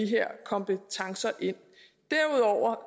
her kompetencer ind derudover